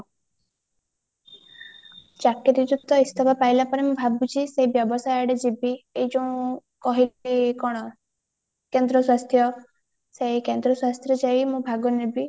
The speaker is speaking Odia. ଚକିରୀରୁ ତ ଇସ୍ତଫା ପାଇଲା ପରେ ମୁଁ ଭାବୁଛି ସେଇ ବ୍ୟବସାୟ ଆଡେ ଯିବି ଏଇ ଯୋଉଁ କହିଲି କଣ କେନ୍ଦ୍ର ସ୍ୱାସ୍ଥ୍ୟ ସେଇ କେନ୍ଦ୍ର ସ୍ୱାସ୍ଥ୍ୟ ଯାଇ ମୁଁ ଭାଗ ନେବି